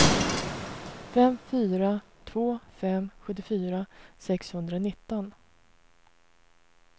fem fyra två fem sjuttiofyra sexhundranitton